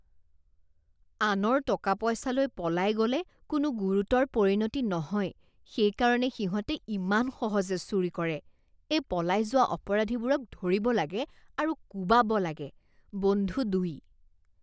আনৰ টকা পইচা লৈ পলাই গ'লে কোনো গুৰুতৰ পৰিণতি নহয় সেইকাৰণে সিহঁতে ইমান সহজে চুৰি কৰে। এই পলাই যোৱা অপৰাধীবোৰক ধৰিব লাগে আৰু কোবাব লাগে। বন্ধু দুই